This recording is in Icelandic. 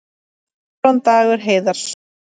Aron Dagur Heiðarsson